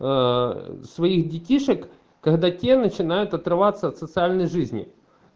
своих детишек когда те начинают отрываться от социальной жизни